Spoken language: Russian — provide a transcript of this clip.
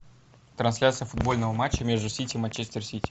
трансляция футбольного матча между сити и манчестер сити